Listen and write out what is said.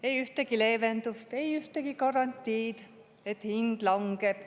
Ei ühtegi leevendust, ei ühtegi garantiid, et hind langeb.